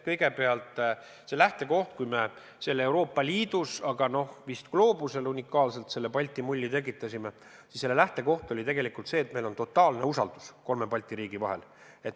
Kõigepealt, see lähtekoht, kui me Euroopa Liidus, aga vist isegi gloobusel unikaalselt selle Balti mulli tekitasime, oli tegelikult see, et meil on totaalne usaldus kolme Balti riigi vahel.